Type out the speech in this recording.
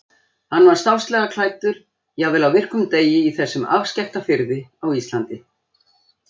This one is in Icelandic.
Hann var stásslega klæddur, jafnvel á virkum degi í þessum afskekkta firði á Íslandi.